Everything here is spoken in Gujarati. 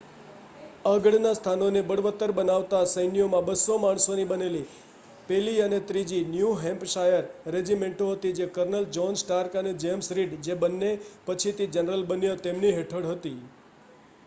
આગળના સ્થાનોને બળવત્તર બનાવતા સૈન્યોમાં 200 માણસોની બનેલી 1લી અને 3જી ન્યૂ હૅમ્પશાયર રેજિમેન્ટો હતી જે કર્નલ જૉહ્ન સ્ટાર્ક અને જેમ્સ રીડ જે બન્ને પછીથી જનરલ બન્યા તેમની હેઠળ હતી